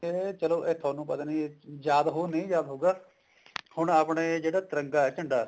ਕਹਿੰਦੇ ਨੇ ਚਲੋ ਥੋਨੂੰ ਪਤਾ ਨੀ ਯਾਦ ਹੋਊ ਨਹੀਂ ਯਾਦ ਹੋਊਗਾ ਹੁਣ ਆਪਣੇ ਜਿਹੜੇ ਤਿਰੰਗਾ ਝੰਡਾ ਹੈ